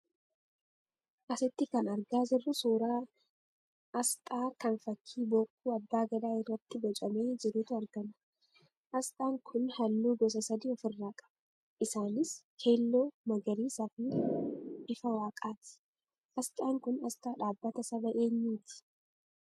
Asitti kan argaa jirru suuraa astaa kan fakkii bokkuu Abbaa Gadaa irratti boocamee jirutu argama. Astaan kun halluu gosa sadii ofirraa qaba. isaanis: keelloo, magariisaa fi bifa waaqaati. Astaan kun astaa dhaabbata saba keenyaatii?